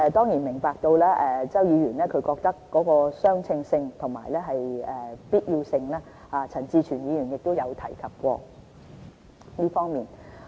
我們明白周議員提出相稱性和必要性的問題，陳志全議員亦有提及過這方面。